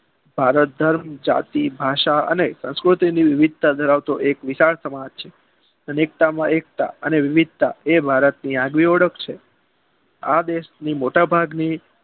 ભારત ધર્મ જાતી ભાષા સંસ્કૃતિની વિવિધતા ધરાવતો એક વિશાળ સમાજ છે વિવિધતામાં એકતા અને વિવિધતા એ ભારતની એક આગવી ઓળખ છે આ દેશની મોટા ભાગની